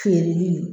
Feereli